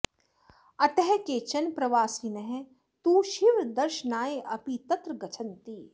अतः केचन प्रवासिनः तु शिवदर्शनाय अपि तत्र गच्छन्ति